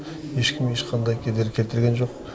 ешкім ешқандай кедергі келтірген жоқ